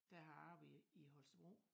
Der har jeg arbejdet i i Holstebro